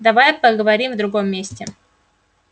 давай поговорим в другом месте